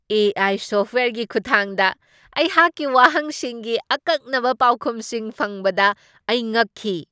ꯑꯦ. I. ꯁꯣꯐꯠꯋꯦꯌꯔꯒꯤ ꯈꯨꯠꯊꯥꯡꯗ ꯑꯩꯍꯥꯛꯀꯤ ꯋꯥꯍꯪꯁꯤꯡꯒꯤ ꯑꯀꯛꯅꯕ ꯄꯥꯎꯈꯨꯝꯁꯤꯡ ꯐꯪꯕꯗ ꯑꯩ ꯉꯛꯈꯤ꯫